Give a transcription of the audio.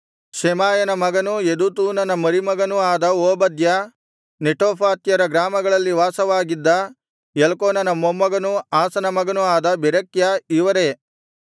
ಶೆಮಾಯನ ಮಗನೂ ಯೆದೂತೂನನ ಮರಿಮಗನೂ ಆದ ಓಬದ್ಯ ನೆಟೋಫಾತ್ಯರ ಗ್ರಾಮಗಳಲ್ಲಿ ವಾಸವಾಗಿದ್ದ ಎಲ್ಕಾನನ ಮೊಮ್ಮಗನೂ ಆಸನ ಮಗನೂ ಆದ ಬೆರೆಕ್ಯ ಇವರೇ